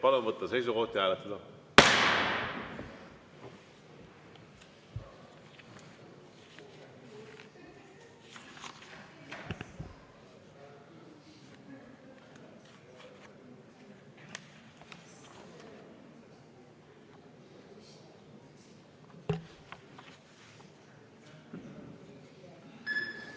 Palun võtta seisukoht ja hääletada!